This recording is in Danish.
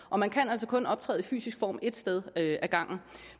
og man kan altså kun optræde fysisk et sted ad gangen